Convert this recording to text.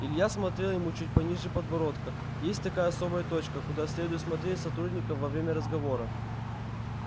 илья смотрел ему чуть пониже подбородка есть такая особая точка куда следует смотреть сотрудникам во время разговора